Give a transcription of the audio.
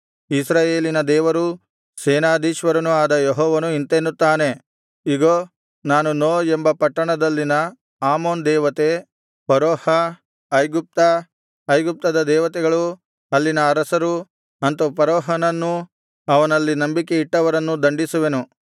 ಇಸ್ರಾಯೇಲಿನ ದೇವರೂ ಸೇನಾಧೀಶ್ವರನೂ ಆದ ಯೆಹೋವನು ಇಂತೆನ್ನುತ್ತಾನೆ ಇಗೋ ನಾನು ನೋ ಎಂಬ ಪಟ್ಟಣದಲ್ಲಿನ ಆಮೋನ್ ದೇವತೆ ಫರೋಹ ಐಗುಪ್ತ ಐಗುಪ್ತದ ದೇವತೆಗಳು ಅಲ್ಲಿನ ಅರಸರು ಅಂತು ಫರೋಹನನ್ನೂ ಅವನಲ್ಲಿ ನಂಬಿಕೆಯಿಟ್ಟವರನ್ನೂ ದಂಡಿಸುವೆನು